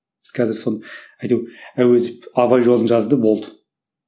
біз қазір сол әуезов абай жолын жазды болды